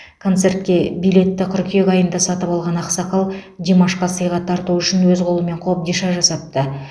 концертке билетті қыркүйек айында сатып алған ақсақал димашқа сыйға тарту үшін өз қолымен қобдиша жасапты